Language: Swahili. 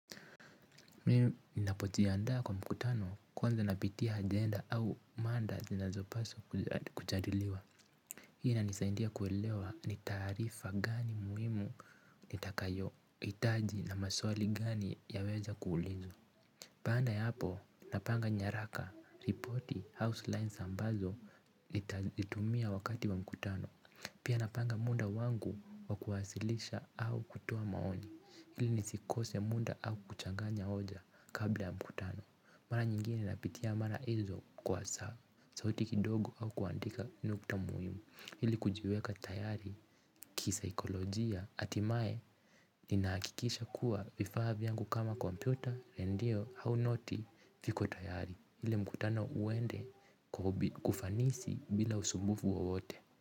Mimi ninapojiandaa kwa mkutano, kwanza napitia agenda au manda zinazopaswa kujadiliwa. Hii inanisaindia kuelewa, ni taarifa gani muhimu nitakayo itaji na maswali gani yaweza kuulizwa. Paanda ya apo napanga nyaraka, ripoti, house lines ambazo, litaitumia wakati wa mkutano. Pia, napanga muda wangu, wakuwasilisha au kutoa maoni. Hili nisikose muda au kuchanganya oja, kabla ya mkutano. Mara nyingine napitia mara izo kwa saa. Sauti kidogo au kuandika nukta muhimu. Hili kujiweka tayari, kisaikolojia, ati mae. Ninahakikisha kuwa, vifaa vyangu kama kompyuta lendio au noti viko tayari. Ili mkutano uende kwa ufanisi, bila usumbufu wowote.